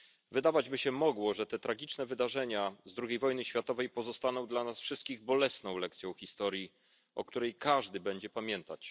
Wydawać by się mogło, że te tragiczne wydarzenia z II wojny światowej pozostaną dla nas wszystkich bolesną lekcją historii, o której każdy będzie pamiętać.